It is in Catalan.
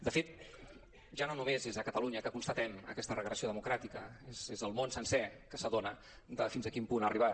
de fet ja no només és a catalunya que constatem aquesta regressió democràtica és el món sencer que s’adona de fins a quin punt ha arribat